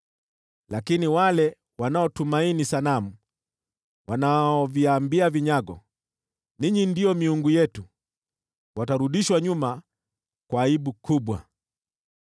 Lakini wale wanaotumaini sanamu, wanaoviambia vinyago, ‘Ninyi ndio miungu yetu,’ watarudishwa nyuma kwa aibu kubwa.